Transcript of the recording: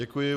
Děkuji.